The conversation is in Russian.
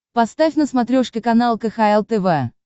поставь на смотрешке канал кхл тв